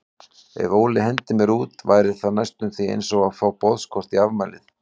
Ef Óli hendir mér út væri það næstum því einsog að fá boðskort í afmælið.